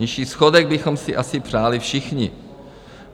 Nižší schodek bychom si asi přáli všichni.